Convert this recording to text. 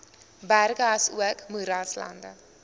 berge asook moeraslande